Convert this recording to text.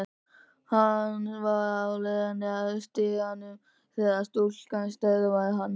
Hann var á leið að stiganum þegar stúlkan stöðvaði hann.